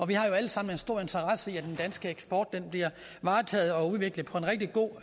vi har jo alle sammen en stor interesse i at den danske eksport bliver varetaget og udviklet på en rigtig god